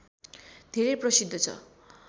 धेरै प्रसिद्ध छ